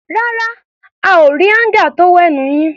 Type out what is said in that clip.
Rárá, a ò rí áńgà tówẹ́ẹ̀nù yín.